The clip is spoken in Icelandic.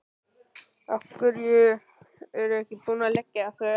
Af hverju er ekki búið að leggja þau af?